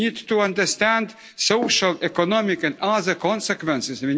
We need to understand, social, economic, and other consequences.